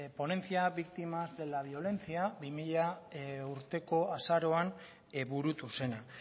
ponencia víctimas de la violencia bi mila urteko azaroan burutu zena